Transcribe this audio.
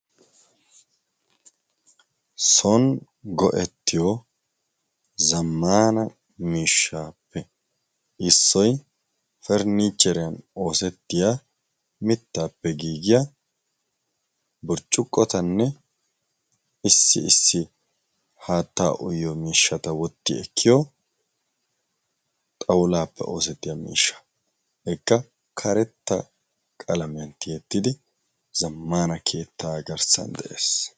son go77ettiyo zammaana miishshaappe issoy pernnicheeriyan oosettiya mittaappe giigiya burccuqqotanne issi issi haatta uyyo miishshata wotti ekkiyo xawulaappe oosettiya miishsha ekka karetta qalamen tiyettidi zammana keettaa garssan de7ees